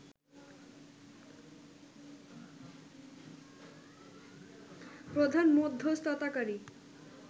প্রধান মধ্যস্থতাকারী